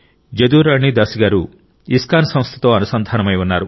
జదురాణి దాసి గారు ఇస్కాన్ సంస్థతో అనుసంధానమై ఉన్నారు